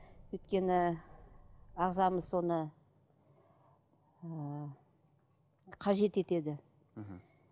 өйткені ағзамыз соны ыыы қажет етеді мхм